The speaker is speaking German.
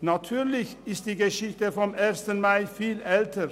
Natürlich ist die Geschichte des Ersten Mais viel älter: